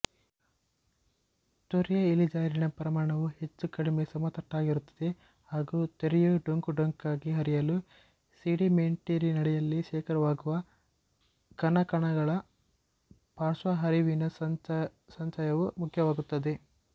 ತೊರೆಯ ಇಳಿಜಾರಿನ ಪ್ರಮಾಣವು ಹೆಚ್ಚುಕಡಿಮೆ ಸಮತಟ್ಟಾಗಿರುತ್ತದೆ ಹಾಗೂ ತೊರೆಯು ಡೊಂಕುಡೊಂಕಾಗಿ ಹರಿಯಲು ಸೆಡಿಮೆಂಟ್ನೀರಿನಡಿ ಶೇಖರವಾಗುವ ಘನಕಣಗಳ ಪಾರ್ಶ್ವಹರಿವಿನ ಸಂಚಯವು ಮುಖ್ಯವಾಗುತ್ತದೆ